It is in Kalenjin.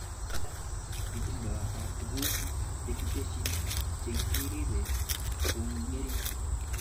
Ada, itondoab tuguk chekitesyi chekiribe kongering